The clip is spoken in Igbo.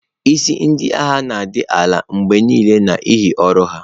Isi Ndị agha na-adị ala mgbe niile n'ihi ọrụ ha.